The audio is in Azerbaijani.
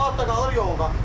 Camaat da qalır yolda.